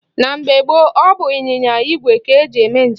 Na mgbe gboo, ọ bụ ịnyịnya igwe ka e ji eme njem.